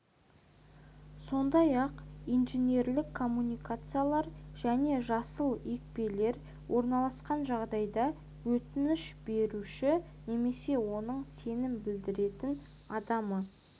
сондай-ақ инженерлік коммуникациялар және жасыл екпелер орналасқан жағдайда өтініш беруші немесе оның сенім білдірген адамы